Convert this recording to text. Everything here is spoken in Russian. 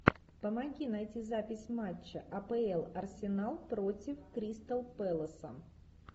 помоги найти запись матча апл арсенал против кристал пэласа